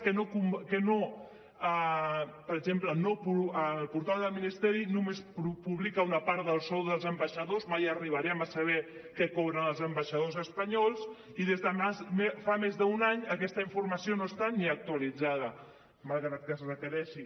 que el portal del ministeri només publica una part del sou dels ambaixadors mai arribarem a saber què cobren els ambaixadors espanyols i des de fa més d’un any aquesta informació no està ni actualitzada malgrat que es requereixi